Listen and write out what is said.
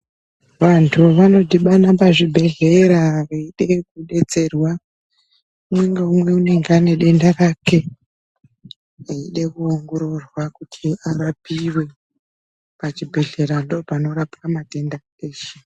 Vantu vanodhibana pazvibhehlera veida kudetserwa. Umwe ngaumwe anenge ane denda rake eida kuongororwa kuti arapiwe, pachibhedhlera ndipo panorapwa matenda eshe.